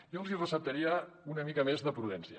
jo els receptaria una mica més de prudència